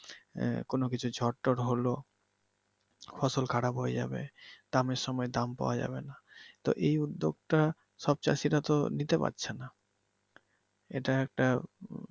কোনো কিছু ঝড়টর হলো ফসল খারাপ হয়ে যাবে দামের সময় দাম পাওয়া যাবে নাহ, তো এই উদ্দ্যেগটা সব চাষিরাতো নিতে পারছে না। এইটা একটা